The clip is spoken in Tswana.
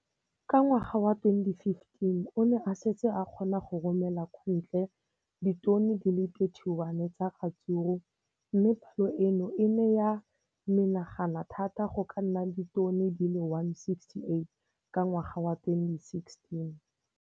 Ka ngwaga wa 2015, o ne a setse a kgona go romela kwa ntle ditone di le 31 tsa ratsuru mme palo eno e ne ya menagana thata go ka nna ditone di le 168 ka ngwaga wa 2016.